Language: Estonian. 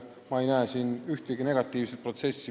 Ma ei näe siin ühtegi negatiivset külge.